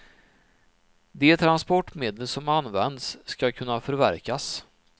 De transportmedel som används ska kunna förverkas.